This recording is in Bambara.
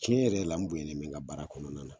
Cɛn yɛrɛ yɛrɛ la, n bonyalen bɛ n ka baara kɔnɔna na.